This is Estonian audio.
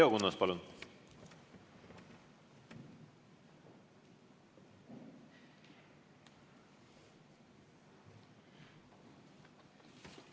Leo Kunnas, palun!